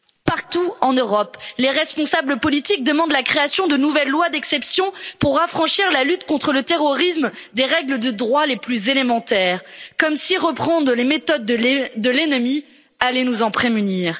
Partout en Europe, les responsables politiques demandent la création de nouvelles lois d'exception pour affranchir la lutte contre le terrorisme des règles de droit les plus élémentaires, comme si reprendre les méthodes de l'ennemi allait nous en prémunir.